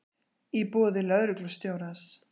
í boði lögreglustjórans.